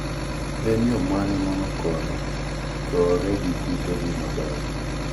en yoo mane manokonyo gore gi kutegi maber?